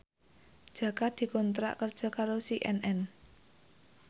Jaka dikontrak kerja karo CNN